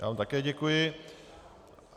Já vám také děkuji.